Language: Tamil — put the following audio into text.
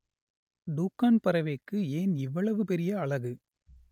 டூக்கான் பறவைக்கு ஏன் இவ்வளவு பெரிய அலகு?